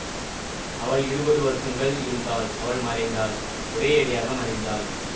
அவள் இருபது வருஷங்கள் இருந்தாள் அவள் மறைந்தாள் ஒரேயடியாக மறைந்தாள்